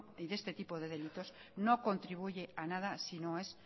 y de este tipo de delitos no contribuye a nada si no es